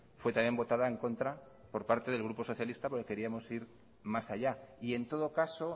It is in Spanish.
fue también votada en contra por parte del grupo socialista porque queríamos ir más allá y en todo caso